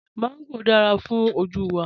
Mángò dára fún ojú wa